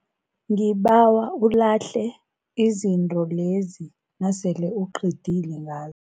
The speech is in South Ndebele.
Ngibawa ulahle izinto lezi nasele uqedile nga